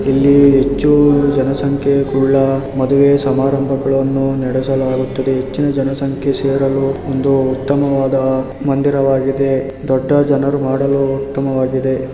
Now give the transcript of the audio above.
ಇಲ್ಲಿ ಹೆಚ್ಚು ಜನಸಂಖ್ಯೆ ಉಳ್ಳ ಮದುವೆ ಸಮಾರಂಭಗಳನ್ನು ನಡೆಸಲಾಗುತ್ತದೆ. ಹೆಚ್ಚಿನ ಜನಸಂಖ್ಯೆ ಸೇರಲು ಉತ್ತಮವಾದ ಮಂದಿರವಾಗಿದೆ ದೊಡ್ಡ ಜನರು ಮಾಡಲು ಉತ್ತಮವಾಗಿದೆ.